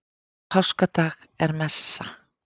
Á páskadag er messa.